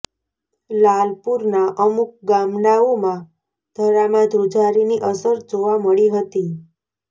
લાલપુરના અમુક ગામડાઓમાં ધરામાં ધ્રુજારીની અસર જોવા મળી હતી